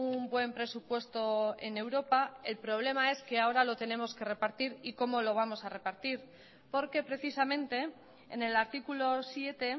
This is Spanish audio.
un buen presupuesto en europa el problema es que ahora lo tenemos que repartir y cómo lo vamos a repartir porque precisamente en el artículo siete